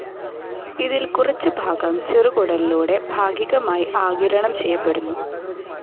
ഇതിൽ കുറച്ചുഭാഗം ചെറുകുടലിലൂടെ ഭാഗികമായി ആഗിരണം ചെയ്യപ്പെടുന്നു.